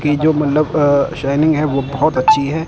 ये जो मंडप शायनिंग है वो बहोत अच्छी हैं।